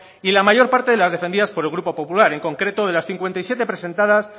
y la mayor parte de las defendidas por el grupo popular en concreto de las cincuenta y siete presentadas